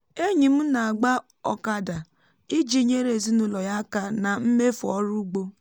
enyi m m na-agba okada iji nyere ezinụlọ ya aka na mmefu ọrụ ugbo